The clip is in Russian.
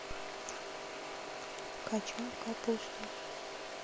кочан капусты